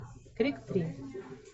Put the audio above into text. крик три